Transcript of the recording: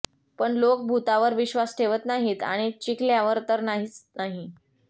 पण लोक भुतावर विश्वास ठेवत नाहीत आणि चिखल्यावर तर नाहीच नाही